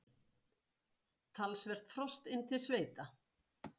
Talsvert frost inn til sveita